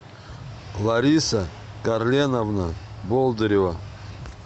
лариса карленовна болдырева